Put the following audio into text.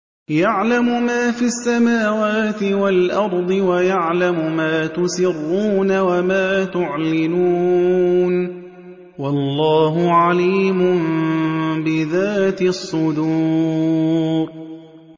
يَعْلَمُ مَا فِي السَّمَاوَاتِ وَالْأَرْضِ وَيَعْلَمُ مَا تُسِرُّونَ وَمَا تُعْلِنُونَ ۚ وَاللَّهُ عَلِيمٌ بِذَاتِ الصُّدُورِ